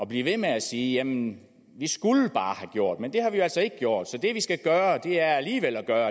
blive ved med at sige jamen vi skulle bare have gjort det men det har vi jo altså ikke gjort så det vi skal gøre er alligevel det der